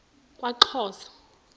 kwaxhosa